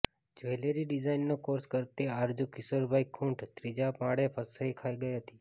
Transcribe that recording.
jewellery ડિઝાઇનનો course કરતી આરજુ કિશોરભાઇ ખુંટ ત્રીજા માળે ફસાઇ ગઇ હતી